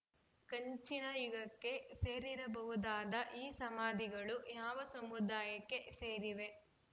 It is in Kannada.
ಕಂಚಿನ ಯುಗಕ್ಕೆ ಸೇರಿರಬಹುದಾದ ಈ ಸಮಾಧಿಗಳು ಯಾವ ಸಮುದಾಯಕ್ಕೆ ಸೇರಿವೆ